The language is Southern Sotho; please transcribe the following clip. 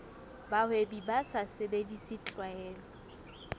bahwebi ba sa sebedise tlwaelo